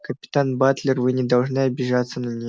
капитан батлер вы не должны обижаться на нее